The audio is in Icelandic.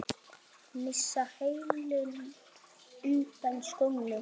Missa hælinn undan skónum.